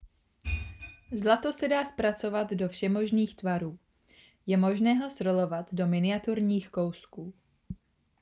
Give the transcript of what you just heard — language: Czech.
zlato se dá zpracovat do všemožných tvarů je možné ho srolovat do miniaturních kousků